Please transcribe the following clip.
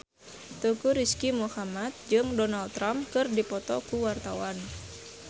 Teuku Rizky Muhammad jeung Donald Trump keur dipoto ku wartawan